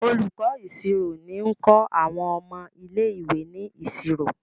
Olùkó ìṣirò ní nkọ àwọn ọmọ ilé ìwé ní ìṣòro.